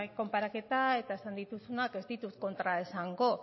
konparaketa eta esan dituzunak ez ditut kontra esango